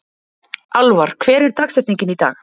Alvar, hver er dagsetningin í dag?